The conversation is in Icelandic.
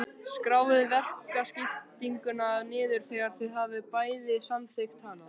Skráið verkaskiptinguna niður þegar þið hafið bæði samþykkt hana.